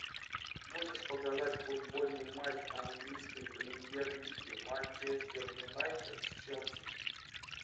можешь показать футбольный матч английской премьер лиги манчестер юнайтед с челси